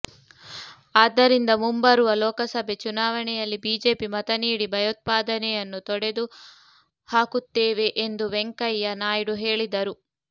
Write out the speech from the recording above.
ಆದ್ದರಿಂದ ಮುಂಬರುವ ಲೋಕಸಭೆ ಚುನಾವಣೆಯಲ್ಲಿ ಬಿಜೆಪಿ ಮತ ನೀಡಿ ಭಯೋತ್ಪಾದನೆಯನ್ನು ತೊಡೆದು ಹಾಕುತ್ತೇವೆ ಎಂದು ವೆಂಕಯ್ಯ ನಾಯ್ಡು ಹೇಳಿದರು